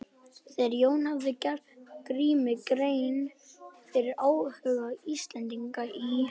Þegar Jón hafði gert Grími grein fyrir áhuga Íslendinga í